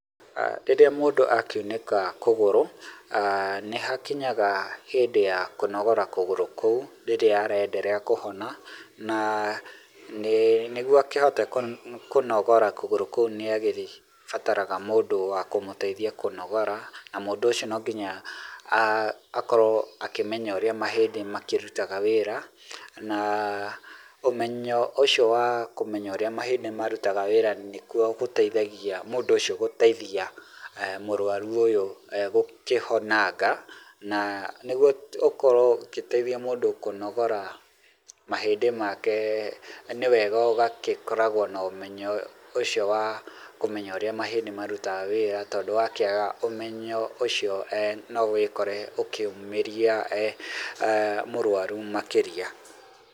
Rĩrĩa mũndũ akiunĩka kũgũrũ aah nĩhakinyaga hĩndĩ ya kũnogora kũgũrũ kũu rĩrĩa ara endelea kũhona na nĩguo akĩhote kũnogora kũgũrũ kũu nĩagĩbataraga mũndũ wa kũmũteithia kũnogora na mũndũ ũcio no nginya akorwo akĩmenya urĩa mahĩndĩ makĩrutaga wĩra na ũmenyo ũcio wa kũmenya ũria mahĩndĩ marutaga wĩra nĩ kuo gũteithagia mũndũ ũcio gũteithia mũrwaru ũyũ gũkĩhonanga na nĩguo ũkorwo ũgĩteithia mũndũ kũnogora mahĩndĩ make nĩ wega ũgagĩkoragwo na ũmenyo ũcio wa ũrĩa mahĩndĩ marutaga wĩra tondũ wakĩaga ũmenyo ũcio eeh no wĩkore ũkĩũmĩria mũrwaru makĩria.